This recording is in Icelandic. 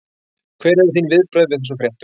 Hver eru þín viðbrögð við þessum fréttum?